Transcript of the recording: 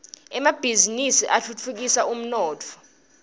emabhisinisi atfutfukisa umnotfo